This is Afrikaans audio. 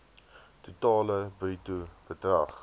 totale bruto bedrag